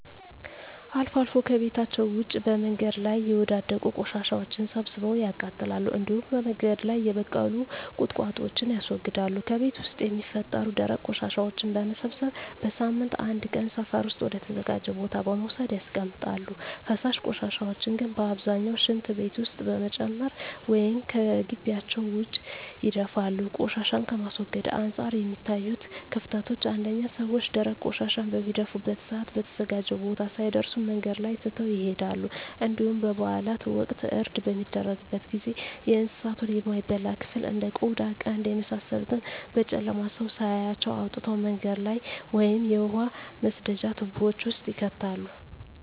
አልፎ አልፎ ከቤታቸዉ ውጭ በመንገድ ላይ የወዳደቁ ቆሻሻወችን ሰብስበው ያቃጥላሉ እንዲሁም በመንገድ ላይ የበቀሉ ቁጥቋጦወችን ያስወግዳሉ። ከቤት ውስጥ የሚፈጠሩ ደረቅ ቆሻሻወችን በመሰብሰብ በሳምንት አንድ ቀን ሰፈር ውስጥ ወደ ተዘጋጀ ቦታ በመውሰድ ያስቀምጣሉ። ፈሳሽ ቆሻሻን ግን በአብዛኛው ሽንት ቤት ውስጥ በመጨመር ወይም ከጊቢያቸው ውጭ ይደፋሉ። ቆሻሻን ከማስወገድ አንፃር የሚታዩት ክፍተቶች አንደኛ ሰወች ደረቅ ቆሻሻን በሚደፉበት ሰአት በተዘጋጀው ቦታ ሳይደርሱ መንገድ ላይ ትተው ይሄዳሉ እንዲሁም በበአላት ወቅት እርድ በሚደረግበት ጊዜ የእንሳቱን የማይበላ ክፍል እንደ ቆዳ ቀንድ የመሳሰሉትን በጨለማ ሰው ሳያያቸው አውጥተው መንገድ ላይ ወይም የውሃ መስደጃ ትቦወች ውስጥ ይከታሉ።